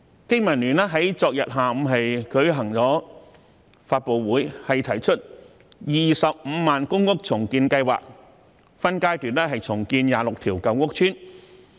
經民聯在昨天下午舉行了發布會，提出 "250,000 公屋重建計劃"，分階段重建26條舊屋邨。